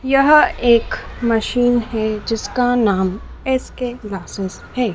यह एक मशीन है जिसका नाम एस_के जासूस है।